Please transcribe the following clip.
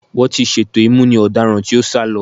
Wọ́n ti ṣètò ìmúni ọ̀daràn tí ó sá lọ.